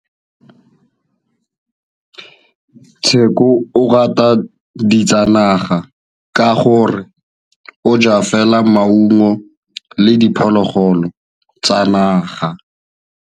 Tshekô o rata ditsanaga ka gore o ja fela maungo le diphologolo tsa naga.